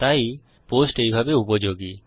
তাই পোস্ট এইভাবে উপযোগী